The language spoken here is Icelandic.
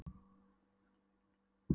Hinn fallni var meðvitundarlítill og þagði.